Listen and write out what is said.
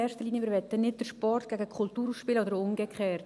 Wir wollen nicht den Sport gegen die Kultur ausspielen oder umgekehrt.